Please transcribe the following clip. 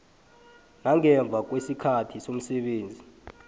nangemva kwesikhathi somsebenzi